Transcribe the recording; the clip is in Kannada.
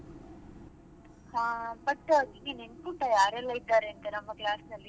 ಹಾ but ನಿನ್ಗೆ ನೆನ್ಪುಂಟಾ ಯಾರೆಲ್ಲ ಇದ್ದಾರೆಂತ ನಮ್ಮ class ಅಲ್ಲಿ?